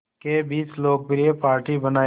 के बीच लोकप्रिय पार्टी बनाया